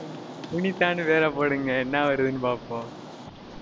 புனிதான்னு பேர போடுங்க என்ன வருதுன்னு பார்ப்போம்